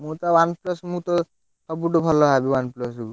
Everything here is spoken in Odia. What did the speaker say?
ମୁଁ ତ OnePlus ମୁଁ ତ ସବୁଠୁ ଭଲ ଭାବେ OnePlus କୁ।